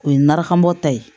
O ye narafan bɔta ye